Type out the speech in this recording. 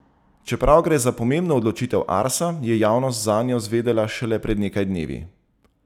Čeprav gre za pomembno odločitev Arsa, je javnost zanjo zvedela šele pred nekaj dnevi.